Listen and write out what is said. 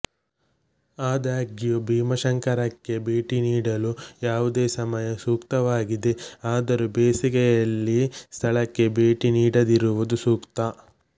ಆದಾಗ್ಯೂ ಭೀಮಾಶಂಕರಕ್ಕೆ ಭೇಟಿ ನೀಡಲು ಯಾವುದೇ ಸಮಯ ಸೂಕ್ತವಾಗಿದೆ ಆದರೂ ಬೇಸಿಗೆಯಲ್ಲಿ ಸ್ಥಳಕ್ಕೆ ಭೇಟಿ ನೀಡದಿರುವುದು ಸೂಕ್ತ